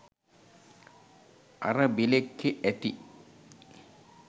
අර බෙළෙක්කෙ ඇති